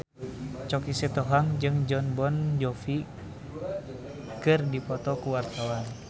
Choky Sitohang jeung Jon Bon Jovi keur dipoto ku wartawan